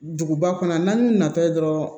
Duguba kɔnɔ n'an natɔ dɔrɔn